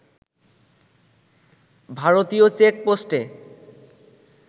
ভারতীয় চেকপোস্টে